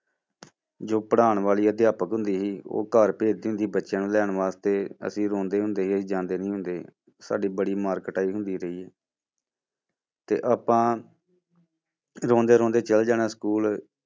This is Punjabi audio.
ਜੋ ਪੜ੍ਹਾਉਣ ਵਾਲੀ ਅਧਿਆਪਕ ਹੁੰਦੀ ਸੀ ਉਹ ਘਰ ਭੇਜਦੀ ਹੁੰਦੀ ਸੀ ਬੱਚਿਆਂ ਨੂੰ ਲੈਣ ਵਾਸਤੇ ਅਸੀਂ ਰੋਂਦੇ ਹੁੰਦੇ ਸੀ, ਅਸੀਂ ਜਾਂਦੇ ਨੀ ਹੁੰਦੇ, ਸਾਡੀ ਬੜੀ ਮਾਰ ਕੁਟਾਈ ਹੁੰਦੀ ਰਹੀ ਹੈ ਤੇ ਆਪਾਂ ਰੋਂਦੇ ਰੋਂਦੇ ਚਲੇ ਜਾਣਾ school